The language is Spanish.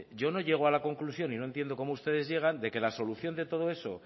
yo no llego a la conclusión y no entiendo como ustedes llegan de que la solución de todo eso